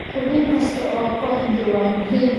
Xubin kasta oo kooxdu waa muhiim.